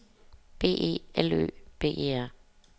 B E L Ø B E R